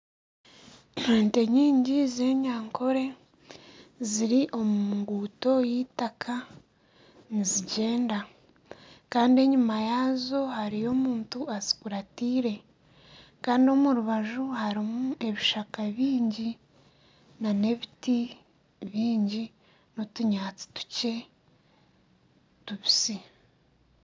Ente nyingi z'enyankore ziri omu nguuto y'eitaka nizigyenda. Kandi enyima yaazo hariyo omuntu azikuratiire. kandi omu rubaju harimu ebishaka bingi, n'ebiti bingi, n'otunyaatsi tukye tubisi.